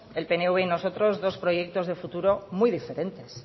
el pnv y nosotros dos proyectos de futuro muy diferentes